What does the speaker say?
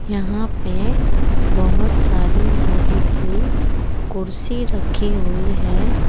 यहां पे बहोत सारी लोहे की कुर्सी रखी हुई है।